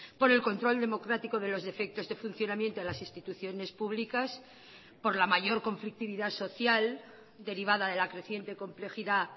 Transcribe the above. por el control democrático de los defectos de funcionamiento de las instituciones públicas por la mayor conflictividad social derivada de la creciente complejidad